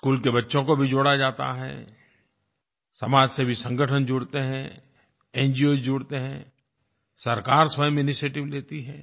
school के बच्चों को भी जोड़ा जाता है समाजसेवी संगठन जुड़ते हैं न्गोस जुड़ते हैं सरकार स्वयं इनिशिएटिव लेती है